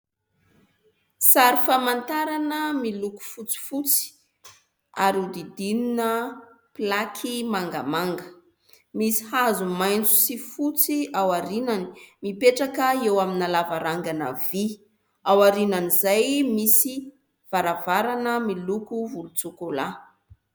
Sary famantarana miloko fotsifotsy ary hodidinina plaky mangamanga, misy hazo maitso sy fotsy ao aoriany mipetraka eo amina lavarangana vy, ao aorian'izay misy varavarana miloko volontsôkôla.